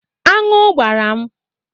Anụ gbara m.